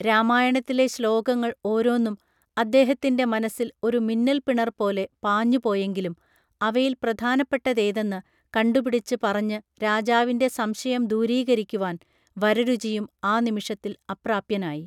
രാമായണത്തിലെ ശ്ലോകങ്ങൾ ഓരോന്നും അദ്ദേഹത്തിൻറെ മനസ്സിൽ ഒരു മിന്നല്പിണർ പോലെ പാഞ്ഞുപോയെങ്കിലും അവയിൽ പ്രധാനപ്പെട്ടതേതെന്ന് കണ്ടുപിടിച്ച് പറഞ്ഞ് രാജാവിൻറെ സംശയം ദൂരീകരിക്കുവാൻ വരരുചിയും ആ നിമിഷത്തിൽ അപ്രാപ്യനായി